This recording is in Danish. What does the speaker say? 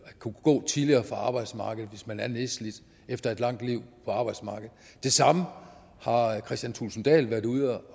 at kunne gå tidligere fra arbejdsmarkedet hvis man er nedslidt efter et langt liv på arbejdsmarkedet det samme har kristian thulesen dahl været ude